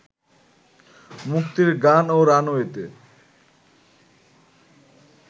মুক্তির গান ও রানওয়েতে